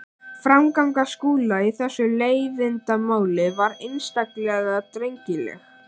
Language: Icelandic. Framganga Skúla í þessu leiðindamáli var einstaklega drengileg.